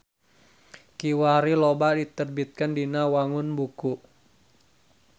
Kiwari loba diterbitkeun dina wangun buku.